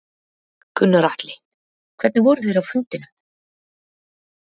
Gunnar Atli: Hvernig voru þeir á fundinum?